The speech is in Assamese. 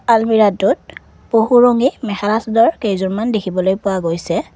আলমিৰাটোত বহু ৰঙী মেখেলা চাদৰ কেইযোৰমান দেখিবলৈ পোৱা গৈছে।